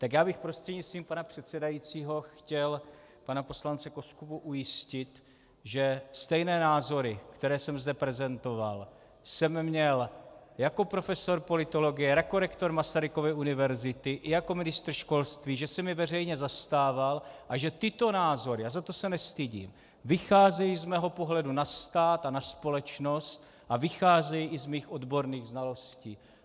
Tak já bych prostřednictvím pana předsedajícího chtěl pana poslance Koskubu ujistit, že stejné názory, které jsem zde prezentoval, jsem měl jako profesor politologie, jako rektor Masarykovy univerzity i jako ministr školství, že jsem je veřejně zastával a že tyto názory, a za to se nestydím, vycházejí z mého pohledu na stát a na společnost a vycházejí i z mých odborných znalostí.